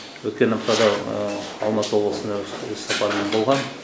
өткен аптада алматы облысында іссапармен болғам